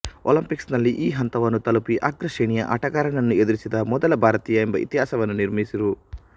ಒಲಿಂಪಿಕ್ಸ್ನಲ್ಲಿ ಈ ಹಂತವನ್ನು ತಲುಪಿ ಅಗ್ರ ಶ್ರೇಣಿಯ ಆಟಗಾರನನ್ನು ಎದುರಿಸಿದ ಮೊದಲ ಭಾರತೀಯ ಎಂಬ ಇತಿಹಾಸವನ್ನು ನಿರ್ಮಿಸಿರು